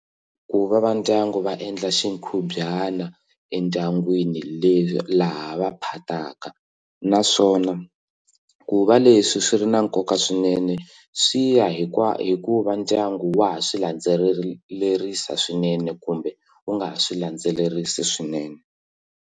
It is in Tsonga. Ku va va ndyangu va endla xikhubyana endyangwini leswi laha va phataka naswona ku va leswi swi ri na nkoka swinene swi ya hikuva ndyangu wa ha swilandzelerisa swinene kumbe u nga swi landzelerisi swinene.